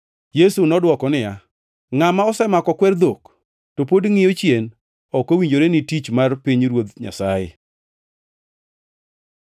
Yesu nodwoko niya, “Ngʼama osemako kwer dhok to pod ngʼiyo chien ok owinjore ni tich mar pinyruoth Nyasaye.”